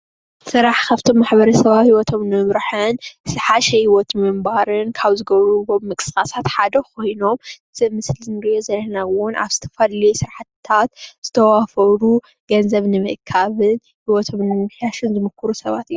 ሰራሕ ካብቶም ንማሕበረሰባዊ ሂወቶም ንምምራሕን ዝሓሸ ህወት ንምንባርን ካብ ዝገብርዎም ንምቅስቃሳት ሓደ ኮይኖም እዚ ኣብ ምስሊ እንሪኦ ዘለና እውን ኣብ ዝተፈላለዩ ስራሕቲታት ዝተዋፈሩ ገንዘብ ንምእካብ ሂወቶም ንምምሕያሽን ዝምክሩ ሰባት እዮም፡፡